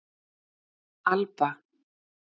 Alba